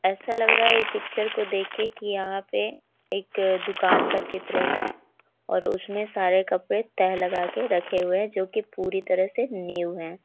ऐसा लग रहा है यह पिक्चर को देख के कि यहाँ पे एक अ दुकान का चित्र है और उसमें सारे कपड़े तह लगा के रखे हुए हैं जो कि पूरी तरह से न्यू है।